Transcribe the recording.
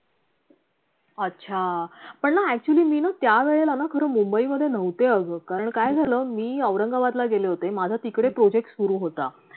अच्छा, पण ना actually मी ना त्या वेळेलाना खरं मुंबईमध्ये नव्हते अगं कारण काय झालं मी औरंगाबादला गेले होते माझा तिकडे project सुरू होता